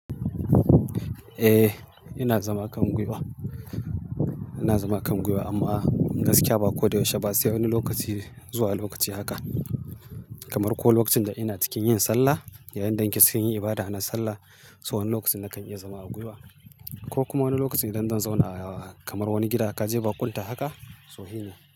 Eh, ina zama kangwiwa. Ina zama kangwiwa amma gaskiya ba koda yaushe ba, sai wani lokaci zuwa lokaci haka. Kamar ko lokacin da ina cikin yin sallah, yayin da kike cikin yin ibada na sallah, so wani lokacin nakan iya zama a gwiwa. Ko kuma wani lokacin idan zan zauna a kamar wani gida kaje baƙunta haka, so shi ne.